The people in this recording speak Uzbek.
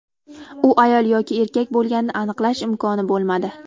U ayol yoki erkak bo‘lganini aniqlash imkoni bo‘lmadi.